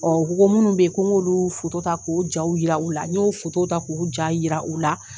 Ɔ ko ko munnu bɛ yen ko n'k'olu foto ta ko jaw yira u la, n'o foto ta k'u ja yira u la.